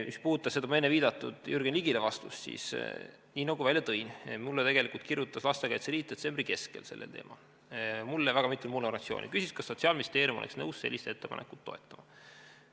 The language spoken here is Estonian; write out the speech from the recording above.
Mis puudutab seda viidatud vastust Jürgen Ligile, siis nii nagu välja tõin, mulle tegelikult kirjutas Lastekaitse Liit detsembri keskel sellel teemal ja küsis, kas Sotsiaalministeerium oleks nõus sellist ettepanekut toetama.